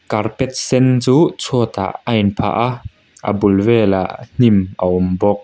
carpet sen chu chhuatah a inphah a a bul velah hnim a awm bawk.